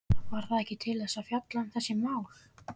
Var það ekki til þess að fjalla um þessi mál?